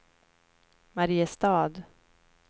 Mariestad